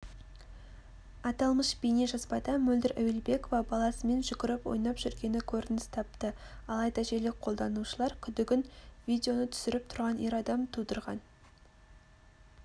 аталмыш бейнежазбада мөлдір әуелбекова баласымен жүгіріп ойнап жүргені көрініс тапты алайда желі қолданушылар күдігін видеоны түсіріп тұрған ер адам тудырған